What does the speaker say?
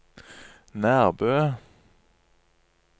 Nærbø